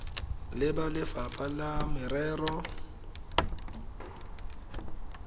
le ba lefapha la merero